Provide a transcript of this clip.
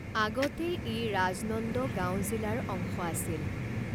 আগতে ই ৰাজনন্দগাঁও জিলাৰ অংশ আছিল।